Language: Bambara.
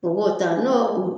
Mɔgɔw t'a n'o ku